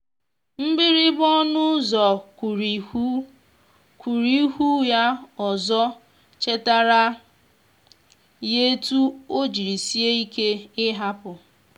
mgbirigba ọnụ ụzọ kuruihù kuruihù ya ozo chetara ya etu o jiri sie ike ị hapụ